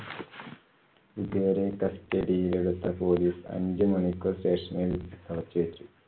ഇവരെ custody യിൽ എടുത്ത police അഞ്ചുമണിക്കൂർ station ൽ അടച്ചുവെച്ചു.